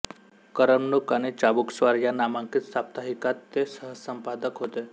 करमणूक आणि चाबूकस्वार या नामांकित साप्ताहिकात ते सहसंपादक होते